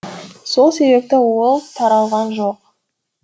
сол себепті ол таралған жоқ